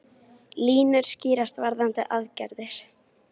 Línur skýrast varðandi aðgerðir